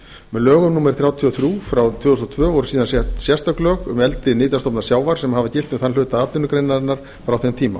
lögum númer þrjátíu og þrjú tvö þúsund og tvö voru síðan sett sérstök lög um eldi nytjastofna sjávar sem hafa gilt um þann hluta atvinnugreinarinnar frá þeim tíma